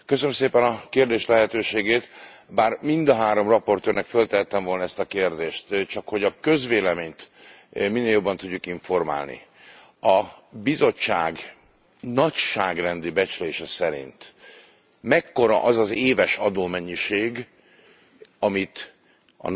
Bár mind a három raportőrnek feltehettem volna ezt a kérdést, csakhogy a közvéleményt minél jobban tudjuk informálni, a Bizottság nagyságrendi becslése szerint mekkora az az éves adómennyiség, amit a nagyvállalatok nem fizetnek be?